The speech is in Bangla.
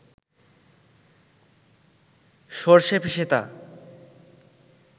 সরষে পিষে তা